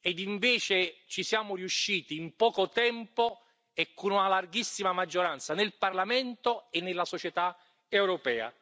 ed invece ci siamo riusciti in poco tempo e con una larghissima maggioranza nel Parlamento e nella società europea.